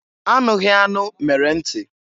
Anụghị anụ mere nti.